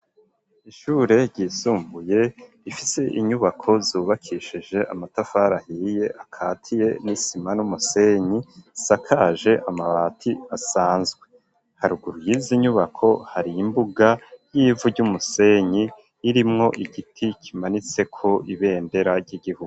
Ishure ryisumbuye ifise inyubako zubakishije amatafari ahiye akatiye n'isima n'umusenyi isakaje amabati asanzwe haruguru yizi nyubako hari imbuga y'ivu ry'umusenyi irimwo igiti kimanitseko ibendera ry'igihugu.